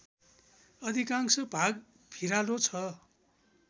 अधिकांश भाग भिरालो छ